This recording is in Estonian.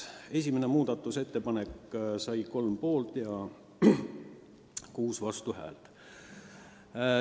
Esimene muudatusettepanek sai kolm poolt- ja kuus vastuhäält.